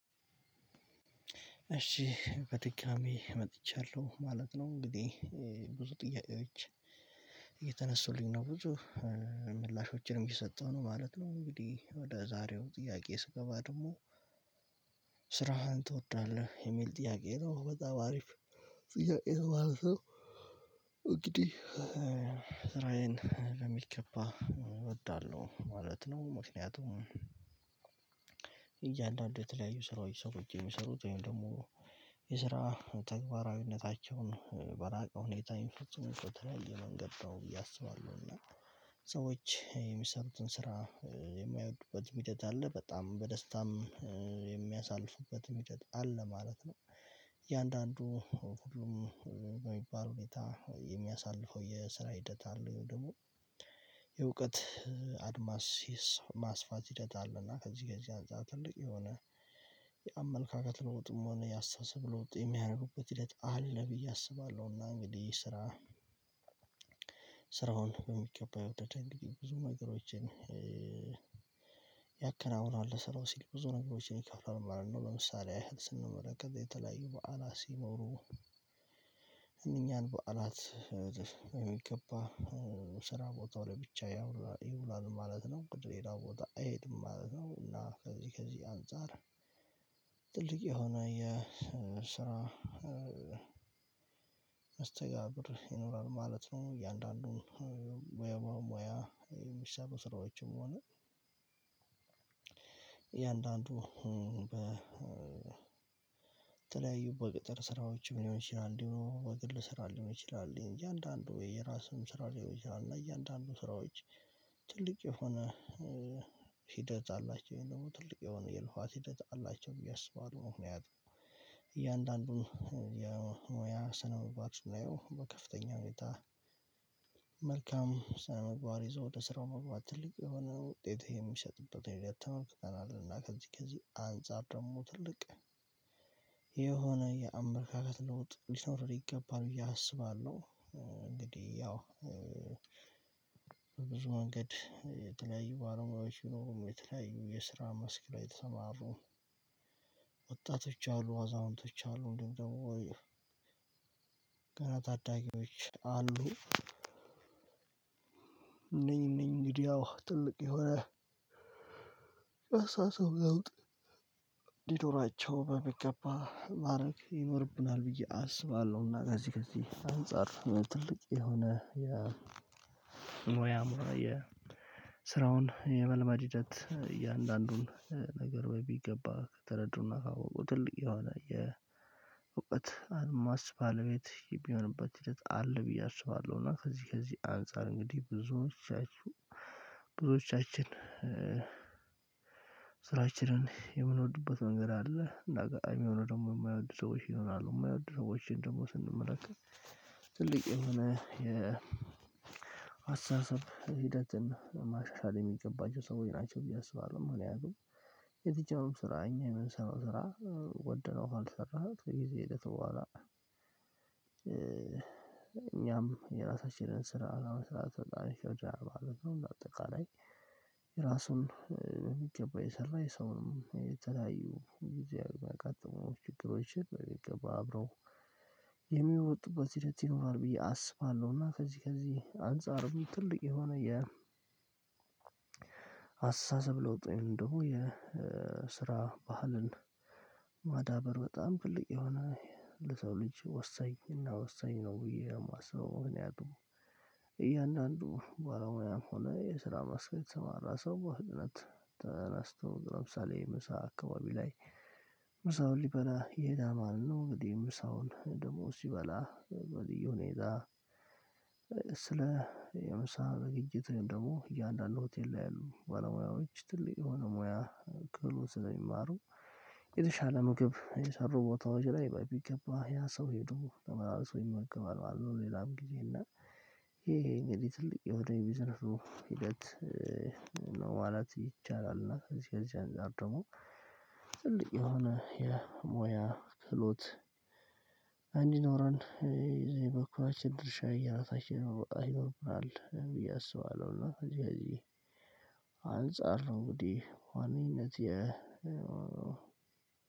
እሺ በድጋሚ መጥቻለሁ ማለት ነው እንግዲህ ብዙ ጥያቄዎች እየተነሱልኝ ነው ብዙ ምላሾችንም እየሰጠሁ ነው ማለት ነው። እንግዲህ ወደ ዛሬው ጥያቄ ስገባ ደግሞ? ስራህን ትወዳለህ የሚል ጥያቄ ነው በጣም አሪፍ ጥያቄ ነው ማለት ነው እንግዲህ ስራዬን በሚገባ እወዳለሁ ማለት ነው። ምክንያቱም እያንዳንዱ የተለያዩ ስራዎች ሰው የሚሰሩት ወይም ደግሞ የስራ ተግባራዊነታቸውን በላቀ ሁኔታ የሚፈጽሙ እኮ ተለያየ ነው ብዬ አስባለሁ። እና ሰዎች የሚሰሩትን ስራ የማይወዱበት ሂደት አለ በጣም በደስታም የሚያሳልፉበት ሂደት አለ ማለት ነው። እያንዳንዱ በሚባል ሁኔታ የሚያሳልፈው የስራ ሂደት አለ ደግሞ የእውቀት አድማስ ማስፋት ሂደት አለና ከዚህ ከዚህ አንፃር ትልቅ የሆነ የአመለካከት ለውጥም ሆነ ያስታሰብ ለውጥ የሚያደርጉበት ሂደት አለ ብዬ አስባለሁ። እና እንግዲህ ስራ ስራውን በሚገባ የውጥተኛ እንግዲህ ብዙ ነገሮችን ያከናውናል ስራው ሲል ብዙ ነገሮችን ይከፍላል ማለት ነው። ለምሳሌ ያህል ስንመለከት ከዛ የተለያዩ በዓላት ሲኖሩ እኛን በዓላት የሚገባ ስራ ቦታው ላይ ብቻ ያውራ ይውላል ማለት ነው። ቅድም ሄዳው ቦታ አይሄድም ማለት ነው። እና ከዚህ ከዚህ አንፃር ትልቅ የሆነ የስራ መስተጋብር ይኖራል ማለት ነው። እያንዳንዱን ሙያ ሙያ የሚሰሩ ስራዎችም ሆነ እያንዳንዱ በተለያዩ በቅጥር ስራዎች ሊሆን ይችላል እንዲሁ በግል ስራ ሊሆን ይችላል እንጂ አንዳንዱ የራሱን ስራ ሊሆን ይችላል እና እያንዳንዱ ስራዎች ትልቅ የሆነ ሂደት አላቸው። ይሄን ደግሞ ትልቅ የሆነ የልኳት ሂደት አላቸው ብዬ አስባለሁ። ምክንያቱም እያንዳንዱን የሙያ ስነ ምግባር ስናየው በከፍተኛ ሁኔታ መልካም ሳምንቧር ይዞ ወደ ስራው መግባት ትልቅ የሆነ ውጤትህ የሚሰጥበት ይሄ የተመልክተናል እና ከዚህ ከዚህ አንፃር ደግሞ ትልቅ የሆነ የአመለካከት ለውጥ ሊኖር ይገባል ብዬ አስባለሁ። እንግዲህ ያው ብዙ መንገድ የተለያዩ ባለሙያዎች ይኖሩም የተለያዩ የስራ መስክ ላይ ተሰማሩ ወጣቶች አሉ አዛውንቶች አሉ ወይ ገና ታዳጊዎች አሉ። ነኝ ነኝ እንግዲህ ያው ትልቅ የሆነ የአስተሳሰብ ለውጥ ሊኖራቸው በሚገባ ማድረግ ይኖርብናል ብዬ አስባለሁ። እና ከዚህ ከዚህ አንፃር ትልቅ የሆነ የሙያ የስራውን የመልመድ ሂደት እያንዳንዱን ነገር በሚገባ ተረድቶና ካወቁ ትልቅ የሆነ የእውቀት አድማስ ባለቤት የሚሆንበት ሂደት አለ። ብዬ አስባለሁ። እና ከዚህ ከዚህ አንፃር እንግዲህ ብዙዎቻችሁ ብዙዎቻችን ስራችንን የምንወድበት መንገድ አለ። አጋጣሚ የሆነ ደግሞ የማይወዱ ሰዎች ይሆናሉ የማይወዱ ሰዎችን ደግሞ ስንመለከት ትልቅ የሆነ አስተሳሰብ ሂደትን ማሻሻል የሚገባቸው ሰዎች ናቸው ብዬ አስባለሁ። ምን ያህል የትኛውም ስራ እኛ የምንሰራው ስራ ወደነው ካልሰራን ጊዜ ሄደት በኋላ። እኛም የራሳችንን ስራ አላማ ስራ ተጣሪ ሸዋ ማለት ነው። እንደ አጠቃላይ ራሱን የሚገባ የሰራ የሰውንም የተለያዩ ጊዜ ያጋጠሙ ችግሮችን በሚገባ አብረው የሚወጡበት ሂደት ይኖራል ብዬ አስባለሁ። እና ከዚህ ከዚህ አንፃር ጥልቅ የሆነ የ አስተሳሰብ ለውጥ ወይንም ደግሞ የስራ ባህልን ማዳበር በጣም ትልቅ የሆነ ለሰው ልጅ ወሰኝ እና ወሰኝ ነው። ብዬ የማስበው። ምክንያቱም እያንዳንዱ ባለሙያ ሆነ የስራ መስክ የተሰማራ ሰው በህግነት ተነስተው ግራምሳሌ ምሳ አካባቢ ላይ ምሳውን ሊበላ የሄዳ ማለት ነው። እንግዲህ ምሳውን ደግሞ ሲበላ ወዲያው ነው ይዛ ስለ የምሳ በግይት ደግሞ እያንዳንዱ ሆቴል ላይ ያሉ ባለሙያዎች ትልቅ የሆነ ሙያ ቅሎ ስለሚማሩ የተሻለ ምግብ የሰሩ ቦታዎች ላይ በቢገባ ያ ሰው ሄዶ ተመላልሶ ይመገባል ማለት ነው። ሌላም ጊዜ እና ይሄ እንግዲህ ትልቅ የወደቀ ቢዝነስ ሂደት ነው። ዋላት ይቻላል እና ከዚህ ከዚህ አድርጎ ደግሞ ጥልቅ የሆነ የሞያ ትሎት አንድ ይኖረን የበኩራችን ድርሻ እየራታችን ነው አይወርድም ብዬ አስባለሁ። እና እዚህ ጋር አንፃር ነው እንግዲህ በዋነኝነት